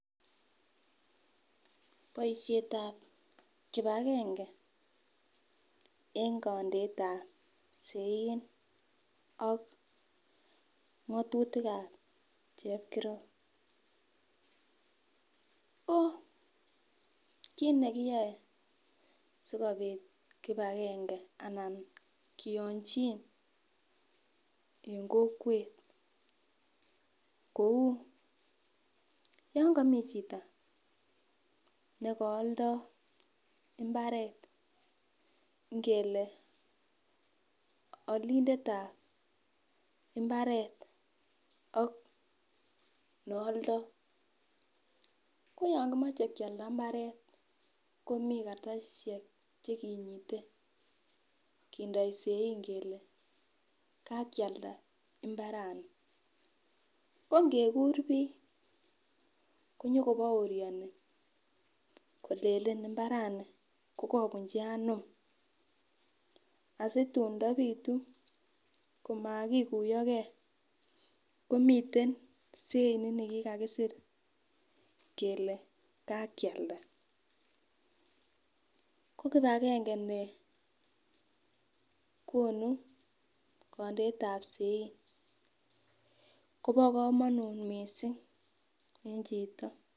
Boishet ap kibakenge eng kondeet ap sein ak ngatutik ap chepkirop kokiit nekiyoe sikobit kibakenge anan koiyonjin en kokwet kou yon kami chito nikaaldo imbaret ng'ele alindet ap mbaret ak nealdoi koyon kimochei kealda mbaret komi kartasishek chekinyite kindoi sein ngele kakialda mbarani ko ngekur biik konyoko bourioni kolelen mbarani kokakobunchi anom asitun ndapitu komakikuyoke komiten sein nikikakiser kele kakialda ko kibakenge nekonu kondeit ap sein Kobo komonut mising eng chito.